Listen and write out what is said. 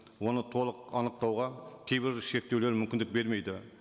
оны толық анықтауға кейбір шектеулер мүмкіндік бермейді